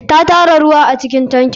Ta tara ruwa acikin tankin.